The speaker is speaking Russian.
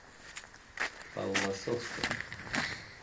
палласовке